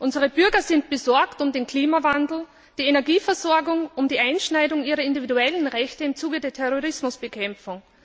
Unsere Bürger sind besorgt über den Klimawandel, die Energieversorgung und die Beschneidung ihrer individuellen Rechte im Zuge der Terrorismusbekämpfung.